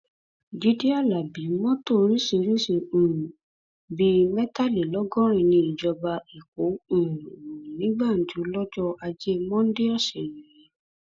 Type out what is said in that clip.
jíde alábi mọtò oríṣìíríṣìí um bíi mẹtàlélọgọrin ní ìjọba èkó um lù ní gbàǹjo lọjọ ajé mọ́ńdè ọsẹ yìí